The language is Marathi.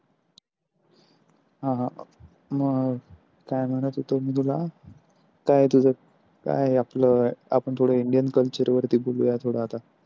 हा हा मग काय म्हणत होतो मी तुला काय तुझ काय आपल आपण indian culture वरती बोलूया थोड आता